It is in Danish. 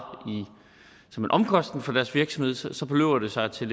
som en omkostning for deres virksomhed så så beløber det sig til